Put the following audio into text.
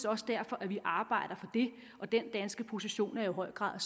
også derfor at vi arbejder for det og den danske position er i høj grad